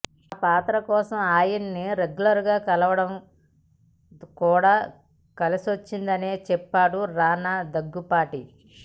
ఆ పాత్ర కోసం ఆయన్ని రెగ్యులర్ గా కలవడం కూడా కలిసొచ్చిందని చెప్పాడు రానా దగ్గుపాటి